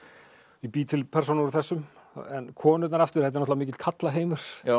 ég bý til persónur úr þessum en konurnar aftur þetta er náttúrulega mikill karlaheimur